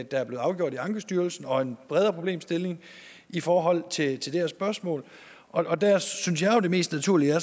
er blevet afgjort i ankestyrelsen og en bredere problemstilling i forhold til det her spørgsmål og der synes jeg jo det mest naturlige